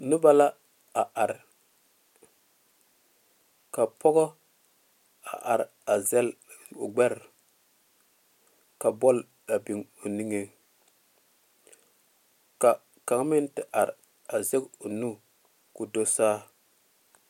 Noba la a are are pɔge are zele o gbɛre big o niŋe ka kaŋa meŋ te are a zɛŋ o nu ka do saa.